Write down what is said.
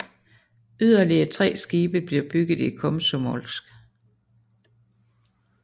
Yderligere tre skibe bliver bygget i Komsomolsk